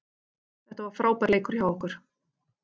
Þetta var frábær leikur hjá okkur